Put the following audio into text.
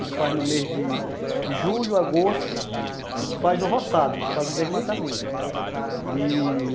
A gente faz no mês de julho, agosto, a gente faz o roçado, a gente faz o desmatamento e...